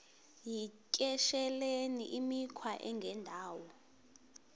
yityesheleni imikhwa engendawo